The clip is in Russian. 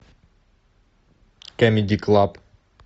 камеди клаб